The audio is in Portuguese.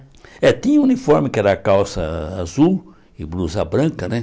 É, tinha uniforme, que era calça azul e blusa branca, né?